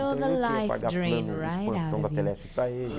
Então, eu que ia pagar plano expansão da Telesp para ele.